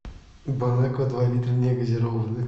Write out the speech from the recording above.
бонаква два литра негазированная